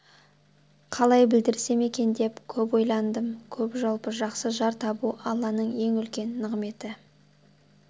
қалай білдірсем екен деп көп ойландым көп жалпы жақсы жар табу алланың ең үлкен нығметі